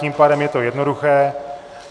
Tím pádem je to jednoduché.